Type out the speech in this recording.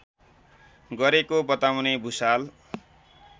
गरेको बताउने भुषाल